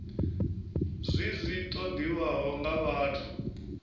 zwi zwi ṱoḓiwaho nga vhathu